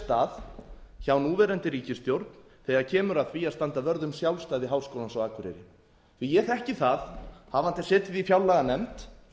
stað hjá núverandi ríkisstjórn þegar kemur að því að standa vörð um sjálfstæði háskólans á akureyri ég þekki það hafandi setið í fjárlaganefnd